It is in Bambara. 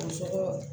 A sɔrɔ